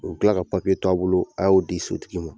U bɛ kila ka papiye t'a bolo a y'o di sotigi ma